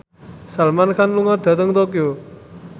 Salman Khan lunga dhateng Tokyo